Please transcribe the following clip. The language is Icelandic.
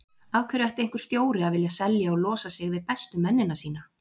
Af hverju ætti einhver stjóri að vilja selja og losa sig við bestu mennina sína?